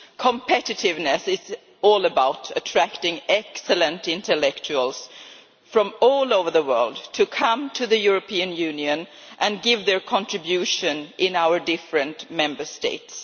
Competitiveness is all about attracting excellent intellectuals from all over the world to come to the European Union and make their contribution in our different Member States.